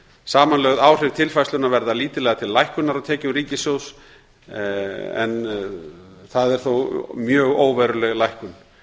samanlögð áhrif tilfærslunnar verða lítillega til lækkunar á tekjum ríkissjóðs en það er þó mjög óveruleg lækkun